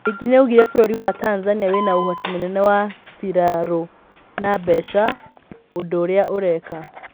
Ningĩ nĩaugire bũrũri wa Tanzania wĩna ũhoti mũnene wa birarũna mbeca, ũndũũrĩa ũreka.